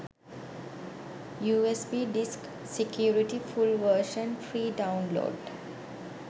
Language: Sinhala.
usb disk security full version free download